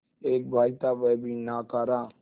एक भाई था वह भी नाकारा